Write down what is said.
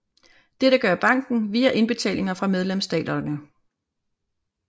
Dette gør banken via indbetalinger fra medlemsstaterne